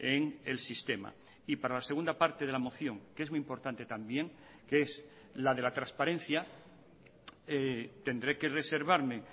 en el sistema y para la segunda parte de la moción que es muy importante también que es la de la transparencia tendré que reservarme